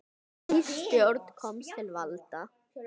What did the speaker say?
Ný stjórn komst til valda.